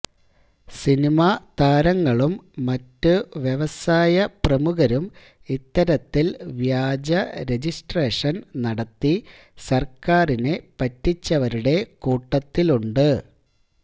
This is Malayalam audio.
സിനിമ താരങ്ങളും മറ്റ് വ്യവസായ പ്രമുഖരും ഇത്തരത്തില് വ്യാജ രജിസ്ട്രേഷന് നടത്തി സര്ക്കാരിനെ പറ്റിച്ചവരുടെ കൂട്ടത്തിലുണ്ട്